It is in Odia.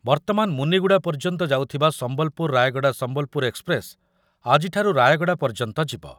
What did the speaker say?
ବର୍ତ୍ତମାନ ମୁନିଗୁଡ଼ା ପର୍ଯ୍ୟନ୍ତ ଯାଉଥିବା ସମ୍ବଲପୁର ରାୟଗଡ଼ା ସମ୍ବଲପୁର ଏକ୍ସପ୍ରେସ୍‌ ଆଜିଠାରୁ ରାୟଗଡ଼ା ପର୍ଯ୍ୟନ୍ତ ଯିବ।